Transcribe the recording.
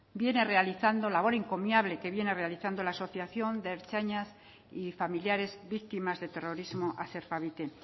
viene realizando labor encomiable que viene realizando la asociación de ertzainas y familiares víctimas de terrorismo aserfavite